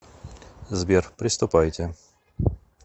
сбер приступайте